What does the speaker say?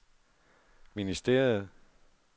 ministeriet